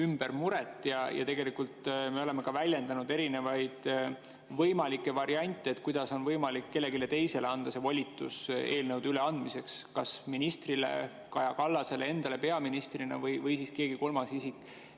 Me oleme tegelikult välja pakkunud ka erinevaid võimalikke variante, kuidas on võimalik kellelegi teisele anda volitus eelnõude üleandmiseks, kas ministrile, Kaja Kallasele endale peaministrina või kellelegi kolmandale isikule.